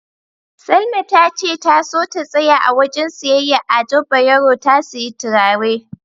Salma tace ta so ta tsaya a wajen siyayyar Ado Bayero ta siyi turare.